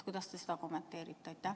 Kuidas te seda kommenteerite?